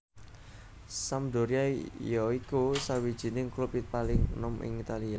Sampdoria ya iku sawijining klub paling enom ing Italia